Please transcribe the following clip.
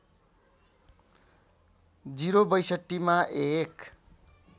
०६२ मा एक